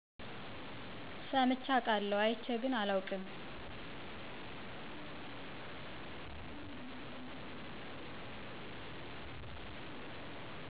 ሰምቼ አቃለሁ አየቼ ግን አላውቅም።